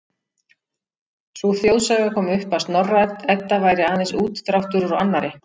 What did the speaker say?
Sú þjóðsaga kom upp að Snorra-Edda væri aðeins útdráttur úr annarri